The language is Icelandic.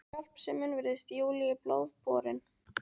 En hjálpsemin virðist Júlíu í blóð borin.